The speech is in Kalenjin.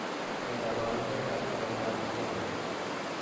Nee kabarunoikab koroitoab Gordon?